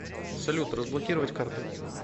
салют разблокировать карты